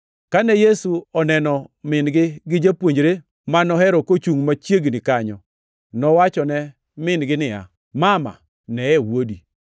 Kane Yesu oneno min-gi gi japuonjre ma nohero kochungʼ machiegni kanyo, nowachone min-gi niya, “Mama, neye wuodi!”